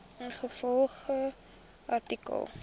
ingevolge artikel